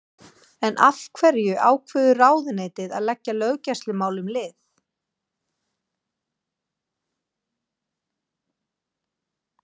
En af hverju ákveður ráðuneytið að leggja löggæslumálum lið?